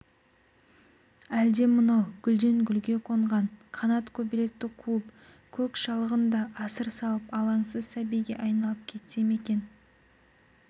әлде мынау гүлден-гүлге қонған қанат көбелекті қуып көк шалғында асыр салып алаңсыз сәбиге айналып кетсе ме екен